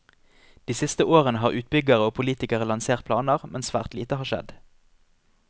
De siste årene har utbyggere og politikere lansert planer, men svært lite har skjedd.